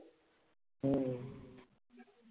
हम्म